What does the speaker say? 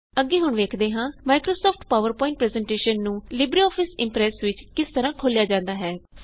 ਅੱਗੇ ਹੁਣ ਵੇਖਦੇ ਹਾਂ ਮਾਇਕ੍ਰੋਸੌਫਟ ਪਾਵਰ ਪਵਾਏੰਟ ਪਰੈੱਜ਼ਨਟੇਸ਼ਨ ਨੂੰ ਲਿਬਰੇਆਫਿਸ ਇਮਪ੍ਰੈਸ ਵਿੱਚ ਕਿਸ ਤਰਹ ਖੋਲਿਆ ਜਾਂਦਾ ਹੈ